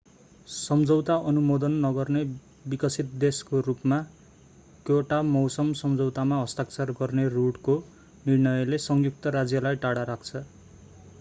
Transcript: सम्झौता अनुमोदन नगर्ने विकसित देशको रूपमा क्योटो मौसम सम्झौतामा हस्ताक्षर गर्ने रुड्को निर्णयले संयुक्त राज्यलाई टाढा राख्छ